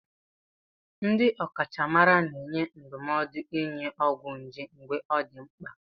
Ndị ọkachamara na-enye ndụmọdụ ịnụ ọgwụ nje mgbe ọ dị mkpa.